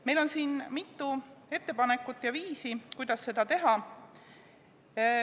Meil on siin mitu ettepanekut ja viisi, kuidas seda teha.